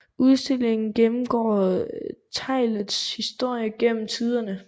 Udstillingen gennemgår teglets historie gennem tiderne